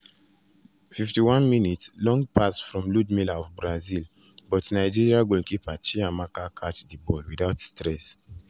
51’ long pass from ludmila of brazil buy nigeria goalkeeper chiamaka catch di ball without stress.